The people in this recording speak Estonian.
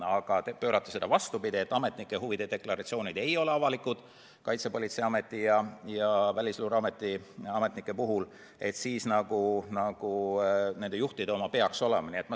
Aga te pöörate selle vastupidi, et Kaitsepolitseiameti ja Välisluureameti ametnike huvide deklaratsioonid ei ole avalikud, aga nagu nende juhtide omad peaks olema.